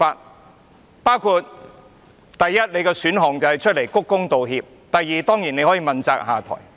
你的選項包括：第一，公開鞠躬道歉；第二，問責下台。